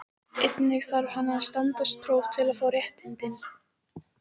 Litli heili getur skemmst við högg, en einnig við slag, blæðingu, æxli og hrörnunarsjúkdóma.